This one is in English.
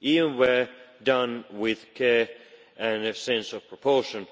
Even where done with care and a sense of proportion,